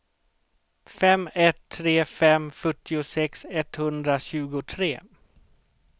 fem ett tre fem fyrtiosex etthundratjugotre